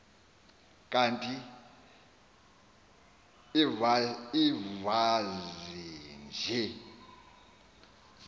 kanti invazi nje